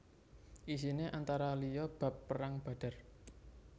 Isiné antara liya bab Perang Badar